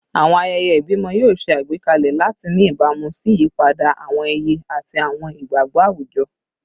Awọn ayẹyẹ ibimọ yoo ṣe agbekalẹ lati ni ibamu si iyipada awọn iye ati awọn igbagbọ awujọ